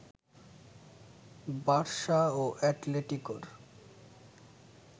Barca ও অ্যাটলেটিকোর